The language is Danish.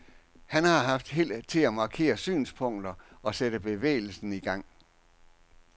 Han har har haft held til at markere synspunkter og sætte bevægelsen i gang.